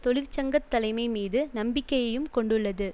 தொழிற்சங்க தலைமை மீது நம்பிக்கையையும் கொண்டுள்ளது